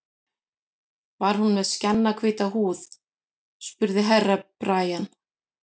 Var hún með skjannahvíta húð, spurði Herra Brian.